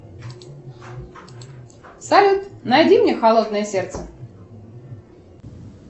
салют найди мне холодное сердце